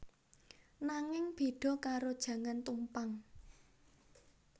Nanging bèda karo jangan tumpang